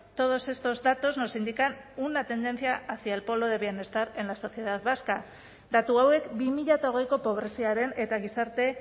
todos estos datos nos indican una tendencia hacia el polo de bienestar en la sociedad vasca datu hauek bi mila hogeiko pobreziaren eta gizarte